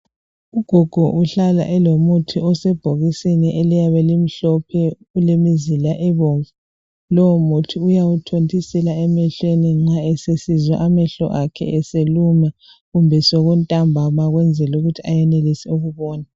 Ugogo uhlala elomuthi osebhokisini eliyabe limhlophe kulemizila ebomvu lowo muthi uyawuthontisela emehlweni nxa esesizwa amehlo akhe eseluma kumbe sekuntambama ukwenzela ukuthi ayenelise ukubona.